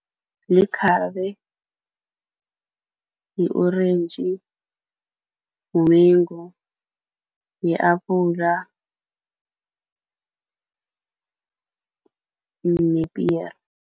Likhabe, yi-orentji, mumengu, yi-apula nepiyere.